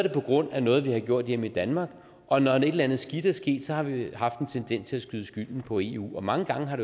på grund af noget vi har gjort hjemme i danmark og når et eller andet skidt er sket har vi haft en tendens til at skyde skylden på eu og mange gange har